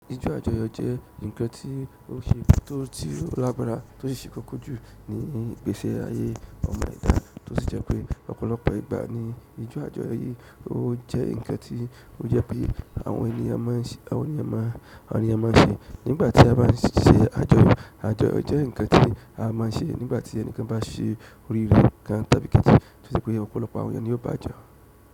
Ijó àjọyọ̀ jẹ́ ǹkan tí ó ṣe é, tó ti lágbára tó sì ṣe kókó jù ní ìgbésí ayé ọmọ ìta tó sì jẹ́ pé ọ̀pọ̀lọpọ̀ ìgbà ni ijó àjọyọ̀ yìí ó jẹ́ ǹkan tí ó jẹ́ pé àwọn ènìyàn máa ń ṣe, àwọn èeyàn máa ń ṣe nígbà tí a bá ń ṣe àjọyọ̀. Àjọyọ̀ jẹ́ ǹkan tí a máa ń ṣe nígbà tí ẹnikan bá ṣe oríre kan tàbí kejì tí ó jẹ́ pé ọ̀pọ̀lọpọ̀ àwọn ènìyàn ni ó bá jo.